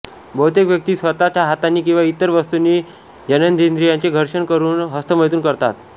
बहुतेक व्यक्ती स्वतःच्या हातांनी किंवा इतर वस्तूंनी जननेंद्रियांचे घर्षण करून हस्तमैथुन करतात